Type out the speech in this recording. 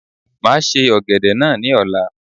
Máa se Ọ̀gẹ̀dẹ̀ náà ni ọ̀la.